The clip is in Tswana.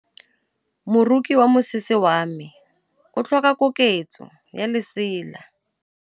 Moroki wa mosese wa me o tlhoka koketsô ya lesela.